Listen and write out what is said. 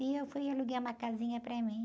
E eu fui alugar uma casinha para mim.